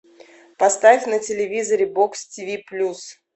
поставь на телевизоре бокс тиви плюс